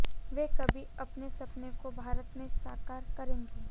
वे कभी अपने सपने को भारत में साकार करेंगे